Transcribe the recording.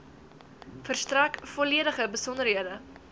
verstrek volledige besonderhede